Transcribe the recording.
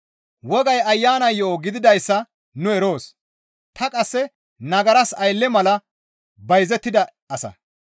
Wogay Ayana yo7o gididayssa nu eroos; ta qasse nagaras aylle mala bayzettida asa.